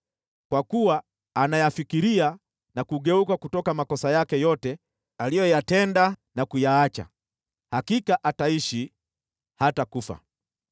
Kwa kuwa anayafikiria na kugeuka kutoka makosa yake yote aliyoyatenda na kuyaacha, hakika ataishi, hatakufa.